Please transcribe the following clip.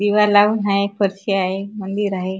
दिवा लाऊन आहे फरशी हाय मंदिर आहे.